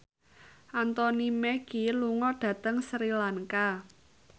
Anthony Mackie lunga dhateng Sri Lanka